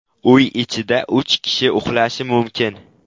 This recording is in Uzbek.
Uy ichida uch kishi uxlashi mumkin.